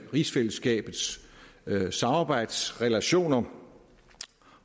rigsfællesskabets samarbejdsrelationer